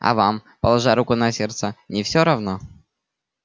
а вам положа руку на сердце не всё равно